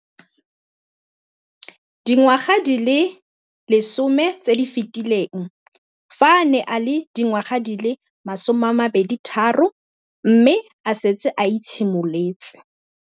Dingwaga di le 10 tse di fetileng, fa a ne a le dingwaga di le 23 mme a setse a itshimoletse